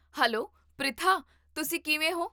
Hello, Pritha ਤੁਸੀ ਕਿਵੇਂ ਹੋ?